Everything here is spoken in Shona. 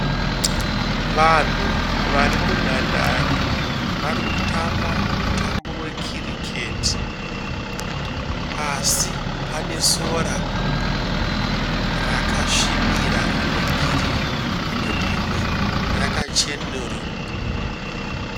Vanhu varimunhandare. Varikutamba mutambo we kiriketi. Pasi pane sora rakasvibira regirini rimwe rakachenuruka.